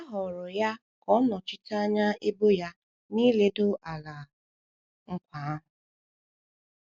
A họọrọ ya ka ọ nọchite anya ebo ya n’ịledo Ala Nkwa ahụ.